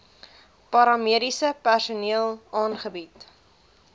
paramediese personeel aangebied